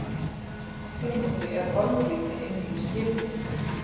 Aftur á móti er holrými inni í skipum.